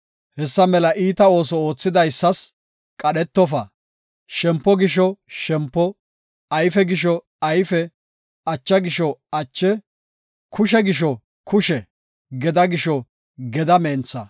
Hessa mela iita ooso oothidaysas qadhetofa; shempo gisho shempo; ayfe gisho ayfe; acha gisho ache; kushe gisho kushe; gedaa gisho gedaa mentha.